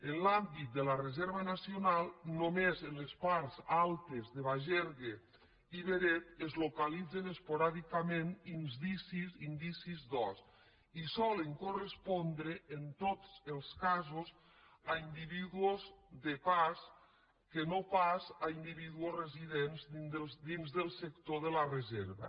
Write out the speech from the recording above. en l’àmbit de la reserva nacional només en les parts altes de bagergue i beret es localitzen esporàdicament indicis d’ós i solen correspondre en tots els casos a in·dividus de pas i no pas a individus residents dins del sector de la reserva